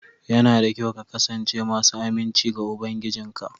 Yana da kyau ka kasance masu aminci ga ubangijinka